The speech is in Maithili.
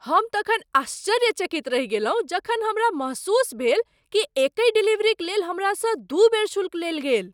हम तखन आश्चर्यचकित रहि गेलहुँ जखन हमरा महसूस भेल कि एकहि डिलीवरीक लेल हमरासँ दुइ बेर शुल्क लेल गेल!